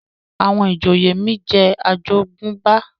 àwọn ìjòyè mí jẹ ajogunba